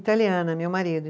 Italiana, meu marido.